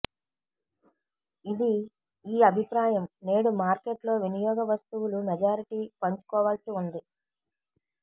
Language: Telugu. ఇది ఈ అభిప్రాయం నేడు మార్కెట్ లో వినియోగ వస్తువులు మెజారిటీ పంచుకోవాల్సి ఉంది